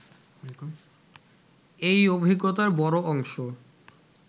এই অভিজ্ঞতার বড় অংশ